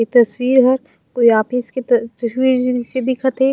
ए तस्वीर ह कोई ऑफिस के तस्वीर जिसे दिखत हे।